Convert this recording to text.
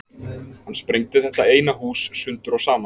Hann sprengdi þetta eina hús sundur og saman.